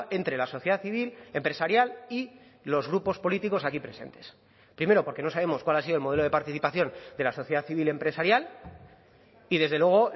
entre la sociedad civil empresarial y los grupos políticos aquí presentes primero porque no sabemos cuál ha sido el modelo de participación de la sociedad civil empresarial y desde luego